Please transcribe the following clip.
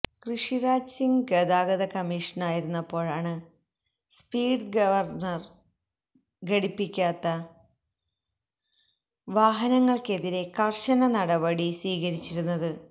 ഋഷിരാജ് സിങ് ഗതാഗത കമ്മിഷണറായിരുന്നപ്പോഴാണ് speed governor ഘടിപ്പിക്കാത്ത വാഹനങ്ങള്ക്കെതിരേ കര്ശന നടപടി സ്വീകരിച്ചിരുന്നത്